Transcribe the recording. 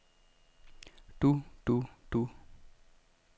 du du du